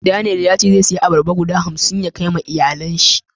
Daniel ya ce zai saya albarba guda hamsi a waje na ya Kai ma iyalin shi